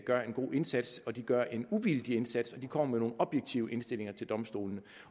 gør en god indsats og gør en uvildig indsats og kommer med nogle objektive indstillinger til domstolene